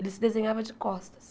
Ele se desenhava de costas.